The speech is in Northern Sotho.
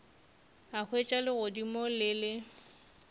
a hwetša legodimo le le